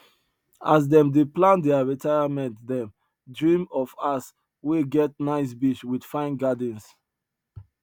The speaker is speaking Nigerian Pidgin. as them dey plan their retirement them dream of house wey get nice beach with fine gardens